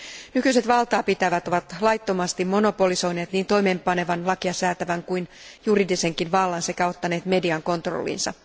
Nykyiset valtaapitävät ovat laittomasti monopolisoineet niin toimeenpanevan, lakiasäätävän kuin juridisenkin vallan sekä ottaneet median kontrolliinsa.